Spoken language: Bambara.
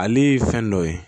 Ale ye fɛn dɔ ye